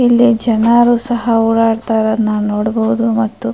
ಇಲ್ಲಿ ಜನರು ಸಹಾ ಓಡಾಟ ಇರೋದ್ನ ನೋಡಬಹುದು ಮತ್ತು --